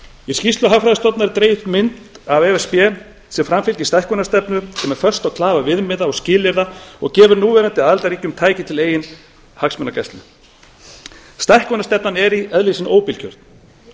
í skýrslu hagfræðistofnunar er dregin upp mynd af e s b sem framfylgir stækkunarstefnu sem er föst á klafa viðmiða og skilyrða og gefur núverandi aðildarríkjum tæki til eigin hagsmunagæslu stækkunarstefnan er í eðli sínu óbilgjörn